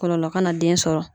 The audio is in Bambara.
Kɔlɔlɔ kana den sɔrɔ.